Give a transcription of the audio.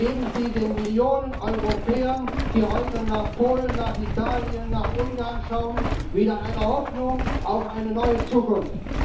Geben Sie den Millionen Europäern, die heute nach Polen, nach Italien, nach Ungarn schauen, wieder eine Hoffnung auf eine neue Zukunft!